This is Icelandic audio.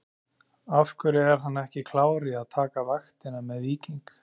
Af hverju er hann ekki klár í að taka vaktina með Víking?